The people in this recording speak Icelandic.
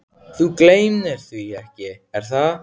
Þú gleymir því ekki, er það?